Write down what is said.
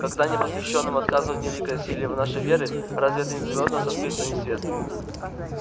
когда непосвящённым отказывают в великой силе нашей веры разве это не зовёт нас открыть им свет